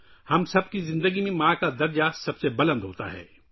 ہم سب کی زندگی میں ماں کا مقام سب سے زیادہ ہے